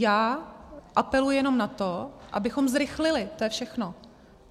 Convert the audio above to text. Já apeluji jenom na to, abychom zrychlili, to je všechno.